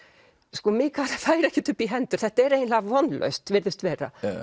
sko Mikael fær ekkert upp í hendur þetta er eiginlega vonlaust virðist vera